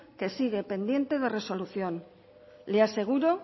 que sigue pendiente de resolución le aseguro